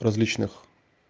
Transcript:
различных